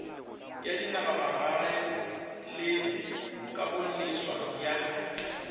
ya dinagamagae le kagoleswa ya